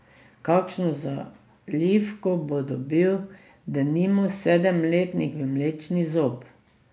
Kakšno zalivko bo dobil denimo sedemletnik v mlečni zob?